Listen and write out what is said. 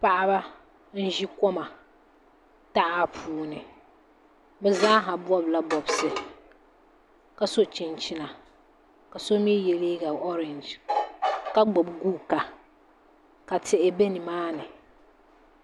Paɣaba n ʒi koma taha puuni bi zaaha bob la bobsi ka so chinchina ka so mii yɛ liiga orɛnj ka gbubi guuka ka tihi bɛ nimaani